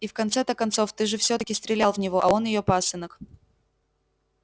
и в конце-то концов ты же всё-таки стрелял в него а он её пасынок